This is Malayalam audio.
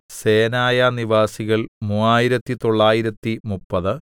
സേനായാനിവാസികൾ മൂവായിരത്തിത്തൊള്ളായിരത്തിമുപ്പത്